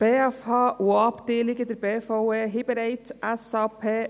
Die Berner Fachhochschule (BFH) und auch Abteilungen der BVE haben bereits SAP.